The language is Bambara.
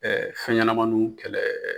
Ɛɛ fɛnɲɛnamaninw kɛlɛ